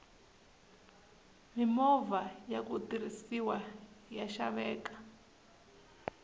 mimovha yaku tirhisiwa ya xaveka